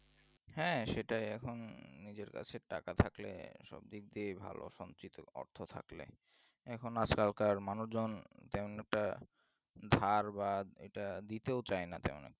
হ্যাঁ সেটা এখন নিজের কাছে টাকা থাকলে সব দিক দিয়ে ভালো সঞ্চিত অর্থ থাকলে এখন আজকালকার মানুষজন কেমন একটা ধার বা এটা দিতেও চায়না তেমন।